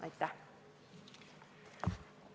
Aitäh!